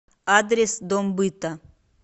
адрес дом быта